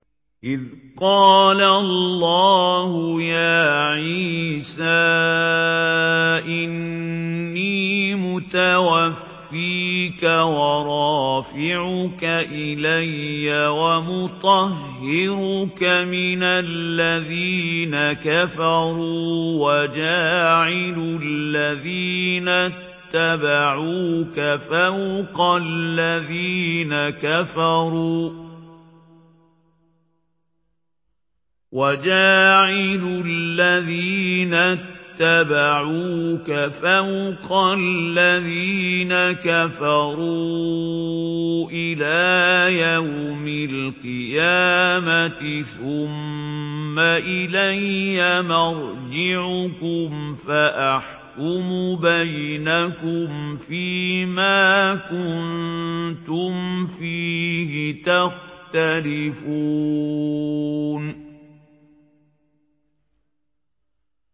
إِذْ قَالَ اللَّهُ يَا عِيسَىٰ إِنِّي مُتَوَفِّيكَ وَرَافِعُكَ إِلَيَّ وَمُطَهِّرُكَ مِنَ الَّذِينَ كَفَرُوا وَجَاعِلُ الَّذِينَ اتَّبَعُوكَ فَوْقَ الَّذِينَ كَفَرُوا إِلَىٰ يَوْمِ الْقِيَامَةِ ۖ ثُمَّ إِلَيَّ مَرْجِعُكُمْ فَأَحْكُمُ بَيْنَكُمْ فِيمَا كُنتُمْ فِيهِ تَخْتَلِفُونَ